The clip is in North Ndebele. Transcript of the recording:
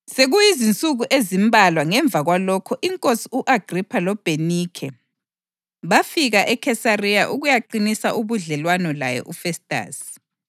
Sekuyizinsuku ezimbalwa ngemva kwalokho iNkosi u-Agripha loBhenikhe bafika eKhesariya ukuyaqinisa ubudlelwano laye uFestasi.